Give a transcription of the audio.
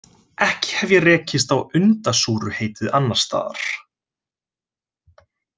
Ekki hef ég rekist á undasúruheitið annars staðar.